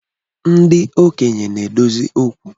Ndi Okenye na-adozi okwu